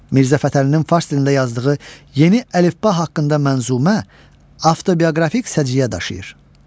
Mirzə Fətəlinin fars dilində yazdığı yeni əlifba haqqında mənzumə avtobioqrafik səciyyə daşıyır.